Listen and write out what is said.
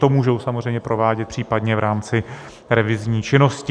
To můžou samozřejmě provádět případně v rámci revizní činnosti.